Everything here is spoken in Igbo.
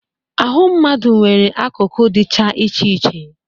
Ahụ mmadụ nwere akụkụ dịcha iche iche.